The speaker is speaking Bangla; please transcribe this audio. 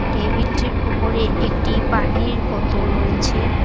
টেবিল -টির উপরে একটি পাহনির বোতল রয়েছে।